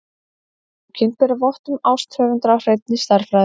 Bókin ber vott um ást höfundar á hreinni stærðfræði.